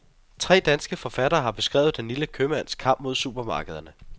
Tre danske forfattere har beskrevet den lille købmands kamp mod supermarkederne.